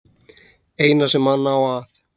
Eina sem hann á að